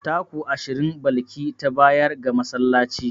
Taku ashirin Balki ta bayar ga masallaci.